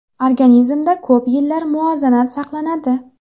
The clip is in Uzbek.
Organizmda ko‘p yillar muvozanat saqlanadi.